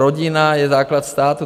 Rodina je základ státu.